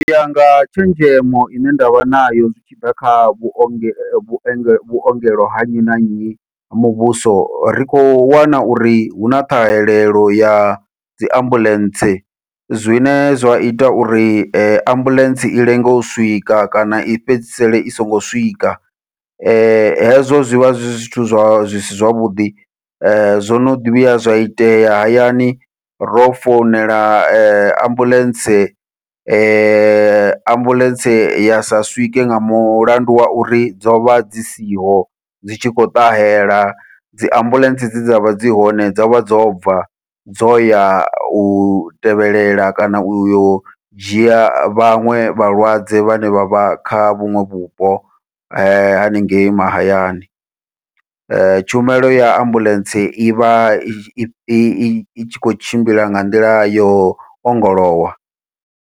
Uya nga tshenzhemo ine ndavha nayo zwi tshi ḓa kha vhuongelo vhuongelo vhuongelo ha nnyi na nnyi ha muvhuso, ri khou wana uri huna ṱhahelelo ya dzi ambuḽentse zwine zwa ita uri ambuḽentse i lenge u swika kana i fhedzisele i songo swika, hezwo zwivha zwi zwithu zwa zwisi zwavhuḓi zwono ḓi vhuya zwa itea hayani ro founela ambuḽentse ambuḽentse ya sa swike nga mulandu wa uri dzovha dzi siho dzi tshi khou ṱahela dzi ambuḽentse dze dzavha dzi hone dzovha dzo bva dzo ya u tevhelela kana uyo dzhia vhaṅwe vhalwadze vhane vha vha kha vhuṅwe vhupo haningei mahayani, tshumelo ya ambuḽentse ivha i tshi khou tshimbila nga nḓila yo ongolowa.